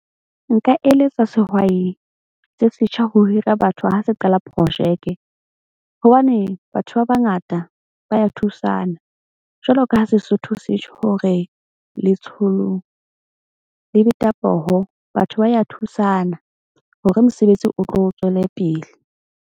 Nka eletsa sehwai se setjha ho hira batho ha se qala projeke. Hobane batho ba bangata ba ya thusana jwalo ka ha Sesotho se tjho hore letsholo le beta poho. Batho ba ya thusana. Hore mosebetsi o tlo tswele pele.